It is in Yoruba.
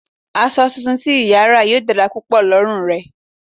Aṣọ tuntun tí ìyà ra yóò dára púpọ̀ lórí rẹ̀